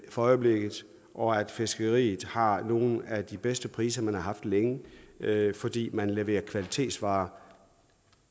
for øjeblikket og at fiskeriet har nogle af de bedste priser man har haft længe fordi man leverer kvalitetsvarer